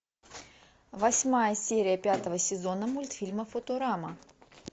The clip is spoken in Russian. восьмая серия пятого сезона мультфильма футурама